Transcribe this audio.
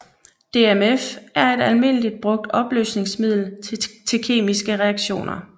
DMF er et almindeligt brugt opløsningsmiddel til kemiske reaktioner